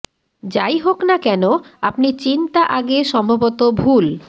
যাই হোক না কেন আপনি চিন্তা আগে সম্ভবত ভুল